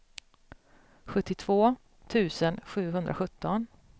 sjuttiotvå tusen sjuhundrasjutton